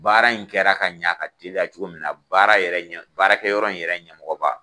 Baara in kɛra ka ɲa ka teliya cogo min na baara yɛrɛ ɲɛmɔ baarakɛ yɔrɔ in yɛrɛ ɲɛmɔgɔ ba